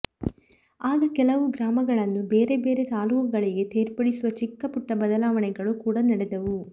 ಆಗ ಕೆಲವು ಗ್ರಾಮಗಳನ್ನು ಬೇರೆ ಬೇರೆ ತಾಲೂಕುಗಳಿಗೆ ಸೇರ್ಪಡಿಸುವ ಚಿಕ್ಕ ಪುಟ್ಟ ಬದಲಾವಣೆಗಳೂ ಕೂಡಾ ನಡೆದವು